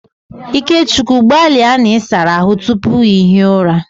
Ikechukwu gbalia na ị sara ahụ tupu ị hie ụra!